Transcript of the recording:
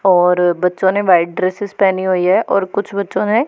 और बच्चों ने व्हाइट ड्रेसेस पहनी हुई है और कुछ बच्चों ने --